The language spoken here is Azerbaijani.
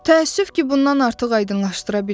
Təəssüf ki, bundan artıq aydınlaşdıra bilmirəm.